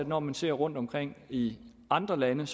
når man ser rundtomkring i andre lande